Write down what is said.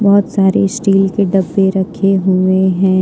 बहुत सारे स्टील के डब्बे रखे हुए हैं।